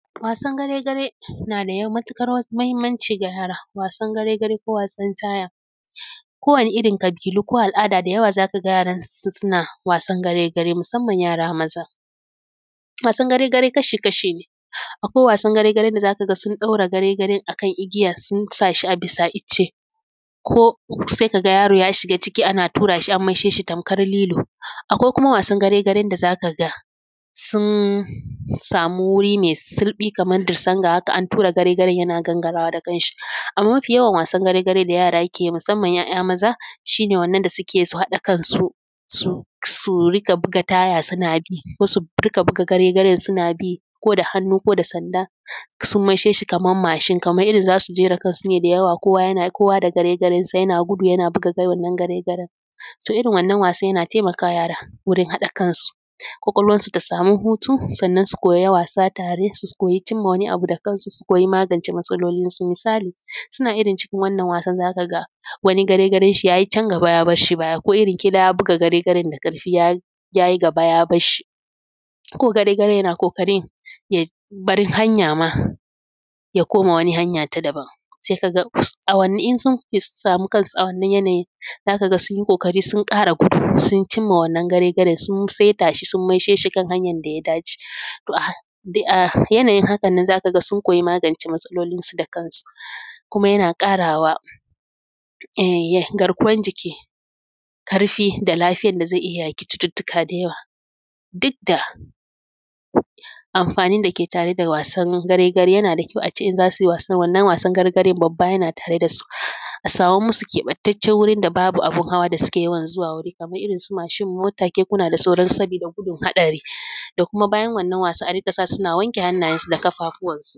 Wasan gare gare na da matuƙar muhimmanci ga yara. Wasan gare gare ko wasan taya kowane irin ƙabilu ko al’ada da yawa za ka ga yaransu suna wasan gare gare musamman yara maza. Wasan gare gare kashi kasha ne, akwai wasan gare garen da za ka ga sun ɗaure gare gare a kan igiya sun sa shi bisa icce, ko sai ka ga yaro ya shiga ana tura shi a maishe shi tamkar lilo. Akwai kuma wasan gare garen da za ka ga sun samu wuri mai sulɓi kaman dusan ga haka an tura gare garen yana gangarawa da kan shi. Amman mafi yawan wasan gare garen da yara ke yi musamman 'ya'ya maza shi ne wannan da suke yi su haɗa kansu su riƙa buga taya suna bi, ko su rinƙa buga gare garen suna bi ko da hannu, ko da sanda, sun mai she shi kaman mashin. Kaman irin za su jera su ne da yawa kowa da gare garen sa yana gudu yana buga wannan gare garen to irin wannan wasan yana taimakawa yara wurin haɗa kansu, ƙwaƙwalwan su ta samu hutu, sannan su koya yin wasa tare, su koyi cin wani abu da kansu, su koyi magance matsalolin su. Misali suna cikin wannan wasan za ka ga wani gare garen shi yayi can gaba ya bar shi ko irin ƙilan ya buga gare garen da ƙarfi ya yi gaba ya bar shi, shi ko gare garen yana ƙoƙarin ya bar hanya ma ya koma wani hanya ta daban, sai ka ga sun samu kansu a wannan yanayin za ka ga sun yi ƙoƙari sun ƙara gudu, sun cimma wannan gare gare sun saita shi sun maishe shi kan hanyar da ya dace. To a yanayin haka nan za ka ga sun magance matsalolin su da kansu, kuma yana ƙarawa garkuwar jiki ƙarfi da lafiyar da zai iya yaƙi cututtuka da yawa. Duk da amfanin dake tare da wasan gare gare yana da kyau a ce in za su wasan wannan wasan gare garen babba yana tare da su. A saman musu keɓantaccen wuri da babu abun hawa da suke yawan zuwa wuri kaman irinsu mashin mota kekuna da sauran su. Sabida gudun haɗari da kuma bayan wannan wasa a rinƙa sa susuna wanke hannayensu da kafafuwan su.